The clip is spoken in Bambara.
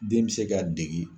Den bɛ se ka dege